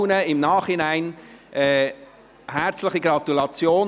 Ihnen allen im Nachhinein herzliche Gratulation.